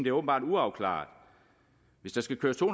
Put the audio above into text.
er åbenbart uafklaret hvis der skal køres to